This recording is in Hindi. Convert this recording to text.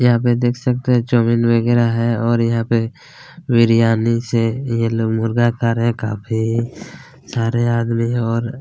यहाँ पे देख सकते है जमीन वगेरा है और यहाँ पे बिरयानी से ये लोग मुर्गा खा रहे है काफी सारे आदमी हैं और--